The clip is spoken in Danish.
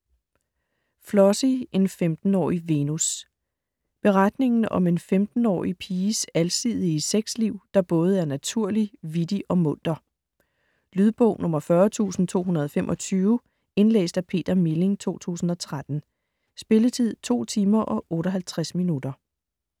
Flossie: en femtenårig Venus Beretningen om en 15-årige piges alsidige sex-liv, der både er naturlig, vittig og munter. Lydbog 40225 Indlæst af Peter Milling, 2013. Spilletid: 2 timer, 58 minutter.